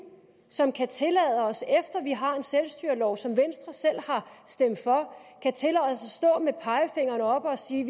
som kan tillade os efter vi har en selvstyrelov som venstre selv har stemt for at stå med pegefingeren oppe og sige